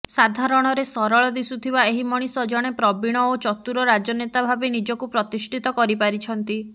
ସାଧାରଣରେ ସରଳ ଦିଶୁଥିବା ଏହି ମଣିଷ ଜଣେ ପ୍ରବୀଣ ଓ ଚତୁର ରାଜନେତା ଭାବେ ନିଜକୁ ପ୍ରତିଷ୍ଠିତ କରିପାରିଛନ୍ତି